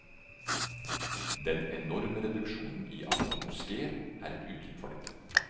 Den enorme reduksjonen i antall moskeer er et uttrykk for dette.